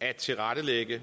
at tilrettelægge